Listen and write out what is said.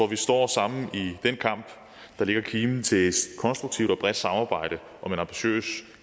vi står sammen i den kamp der lægger kimen til et konstruktivt og bredt samarbejde om en ambitiøs